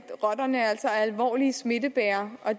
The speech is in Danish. rotterne altså er alvorlige smittebærere og